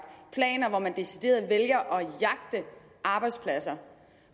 planer hvor man decideret vælger at jagte arbejdspladser